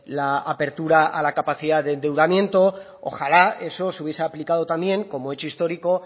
la apertura a la capacidad de endeudamiento ojalá eso se hubiese aplicado también como hecho histórico